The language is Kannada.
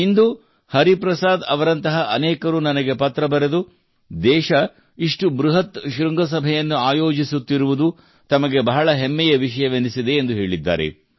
ಇಂದು ಹರಿಪ್ರಸಾದ್ ಅವರಂತಹ ಅನೇಕರು ನನಗೆ ಪತ್ರ ಬರೆದು ದೇಶ ಇಷ್ಟು ಬೃಹತ್ ಶೃಂಗಸಭೆಯನ್ನು ಆಯೋಜಿಸಿತ್ತಿರುವುದು ತಮಗೆ ಬಹಳ ಹೆಮ್ಮೆಯ ವಿಷಯವೆನಿಸಿದೆ ಎಂದು ಹೇಳಿದ್ದಾರೆ